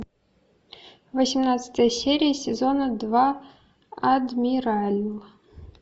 восемнадцатая серия сезона два адмирал